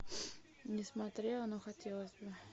не смотрела но хотелось бы